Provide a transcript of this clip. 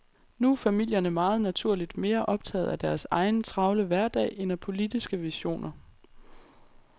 Nu er familierne meget naturligt mere optaget af deres egen travle hverdag end af politiske visioner.